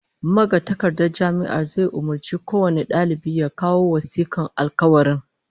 Magatakardar Jami'ar zai umurci kowane dalibi ya kawo wasikar alkawarin